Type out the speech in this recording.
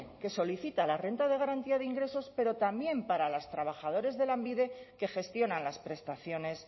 que solicita la renta de garantía de ingresos pero también para los trabajadores de lanbide que gestionan las prestaciones